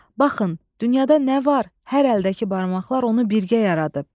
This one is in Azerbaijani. Baxın, dünyada nə var, hər əldəki barmaqlar onu birgə yaradıb.